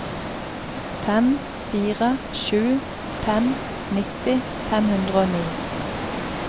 fem fire sju fem nitti fem hundre og ni